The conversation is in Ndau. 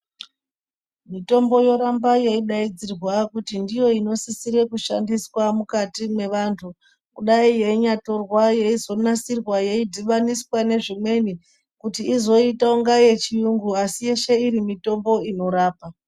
Mitombo yoramba yei daidzirwa kuti ndiyo ino sisire kushandiswa mukati me vantu kudai yeinya torwa yeizo nasirwa yei dhibaniswa ne zvimweni kuti izoita kunga ye chiyungu asi yeshe iri mitombo inorapa.